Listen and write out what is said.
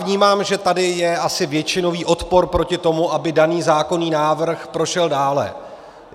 Vnímám, že tady asi je většinový odpor proti tomu, aby daný zákonný návrh prošel dále.